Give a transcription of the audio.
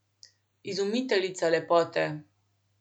Izumiteljica lepote.